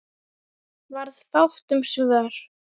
Varð fátt um svör.